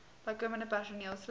bykomende personeel slegs